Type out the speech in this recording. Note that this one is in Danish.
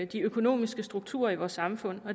de økonomiske strukturer i vores samfund